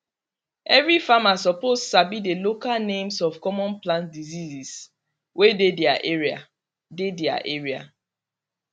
every farmer suppose sabi the local names of common plant diseases wey dey their area dey their area